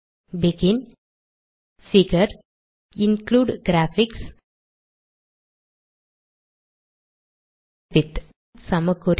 begin figure include graphics width சமக்குறி